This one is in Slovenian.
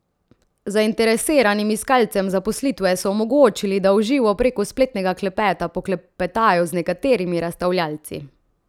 Zainteresiranim iskalcem zaposlitve so omogočili, da v živo preko spletnega klepeta poklepetajo z nekaterimi razstavljavci.